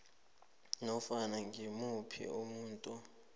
nofana ngimuphi umuntu